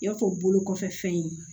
I y'a fɔ bolo kɔfɛ fɛn ye